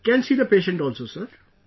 Can see the patient also, sir